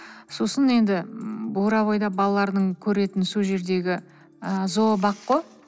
сосын енді бурабайда балалардың көретіні сол жердегі ы зообақ қой